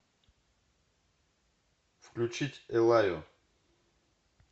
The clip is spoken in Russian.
включить эллаю